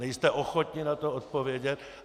Nejste ochotni na to odpovědět.